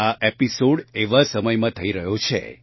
આ એપીસોડ એવા સમયમાં થઇ રહ્યો છે